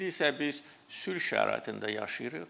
İndi isə biz sülh şəraitində yaşayırıq.